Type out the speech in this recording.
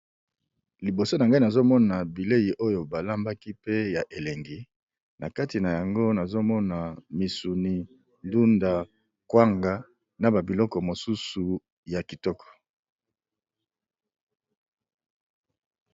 Liboso na ngai nazali komona biliko ya kolia, namoni ndunda, niama, na biloko mosusu ébélé